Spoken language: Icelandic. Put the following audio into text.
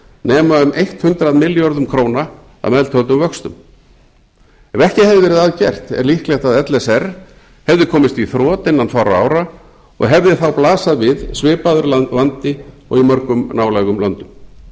nema um hundrað milljörðum króna að meðtöldum vöxtum ef ekki hefði verið að gert er líklegt að l s r hefði komist í þrot innan fárra ára og hefði þá blasað við svipaður vandi og í mörgum nálægum löndum